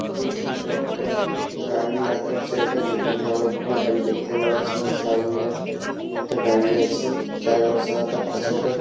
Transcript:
এই ছবিটা একটা গাড়ি রাখার জায়গা যেখানে অনেকগুলো গাড়ি দেখতে পাওয়া যাচ্ছে যেমন সামনে একটা গাড়ি আছে তার রং সাদা তার পাশেও একটা।